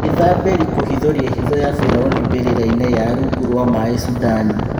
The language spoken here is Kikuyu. Mwithabĩ ri kũhithũria hitho ya biraũni mbĩ rĩ rainĩ ya rũngu rwa maĩ Sudani